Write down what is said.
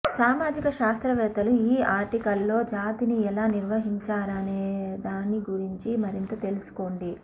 సామాజిక శాస్త్రవేత్తలు ఈ ఆర్టికల్లో జాతిని ఎలా నిర్వచించారనే దాని గురించి మరింత తెలుసుకోండి